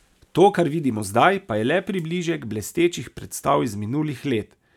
To, kar vidimo zdaj, pa je le približek blestečih predstav iz minulih let.